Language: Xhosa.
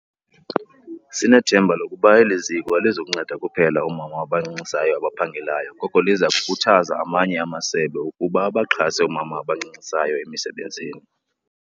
Sinethemba lokuba eli ziko alizukunceda kuphela oomama abancancisayo abaphangelayo koko liza kukhuthaza amanye amasebe ukuba abaxhase oomama abancancisayo emisebenzini.